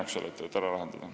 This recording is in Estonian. Palun, Urve Tiidus!